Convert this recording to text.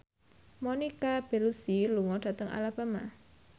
Monica Belluci lunga dhateng Alabama